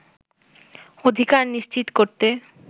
অধিকার নিশ্চিত করতে